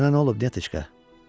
Sənə nə olub, Nyateçka?